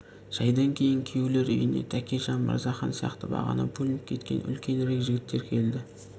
шайдан кейін күйеулер үйіне тәкежан мырзахан сияқты бағана бөлініп кеткен үлкенірек жігіттер келді